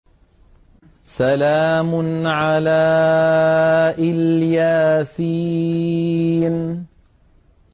سَلَامٌ عَلَىٰ إِلْ يَاسِينَ